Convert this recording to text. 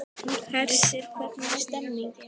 Hersir, hvernig er stemningin?